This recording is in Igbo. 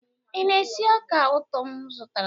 ị na-esi ọka ụtọ m zụtara?